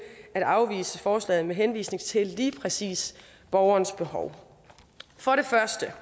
at afvise forslaget med henvisning til lige præcis borgerens behov for det første